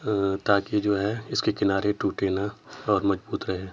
अ ताकि जो है इसके किनारे टूटे ना और मजबूत रहे।